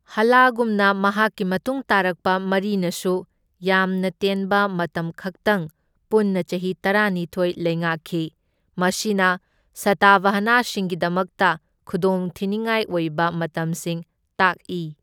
ꯍꯥꯂꯥꯒꯨꯝꯅ ꯃꯍꯥꯛꯀꯤ ꯃꯇꯨꯡ ꯇꯥꯔꯛꯄ ꯃꯔꯤꯅꯁꯨ ꯌꯥꯝꯅ ꯇꯦꯟꯕ ꯃꯇꯝꯈꯛꯇꯪ ꯄꯨꯟꯅ ꯆꯍꯤ ꯇꯔꯥꯥꯅꯤꯊꯣꯢ ꯂꯩꯉꯥꯛꯈꯤ, ꯃꯁꯤꯅ ꯁꯇꯥꯚꯍꯥꯅꯥꯁꯤꯡꯒꯤꯗꯃꯛꯇ ꯈꯨꯗꯣꯡꯊꯤꯅꯤꯡꯉꯥꯏ ꯑꯣꯏꯕ ꯃꯇꯝꯁꯤꯡ ꯇꯥꯛꯏ꯫